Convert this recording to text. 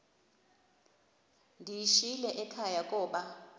ndiyishiyile ekhaya koba